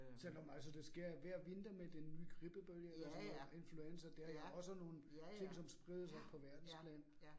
Selvom altså det sker hver vinter med den nye grippebølge og sådan noget, influenza det er jo også nogle ting, som spredes oppe på verdensplan